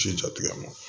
Ji jatigɛ ma